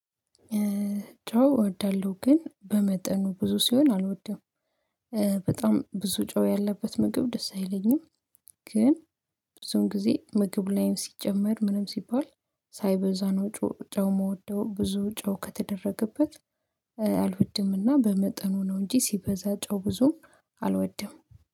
ጨው እወዳለሁ ግን በመጠኑ ብዙ ሲሆን አልወደም በጣም ብዙ ጨው ያለበት ምግብ ደስ አይለኝም። ግን ብዙን ጊዜ ምግብ ላይ ሲጨመር ምንም ሲባል ሳይበዛ ነው ጨው ምወደው ብዙ ጨው ከተደረገበት። አልወድምና በመጠኑ ነው እንጂ ሲበዛ ጨው ብዙም አልወደም